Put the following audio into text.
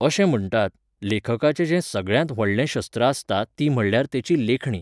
अशें म्हणटात, लेखकाचें जें सगळ्यात व्हडलें शस्त्र आसता ती म्हळ्ळ्यार तेची लेखणी.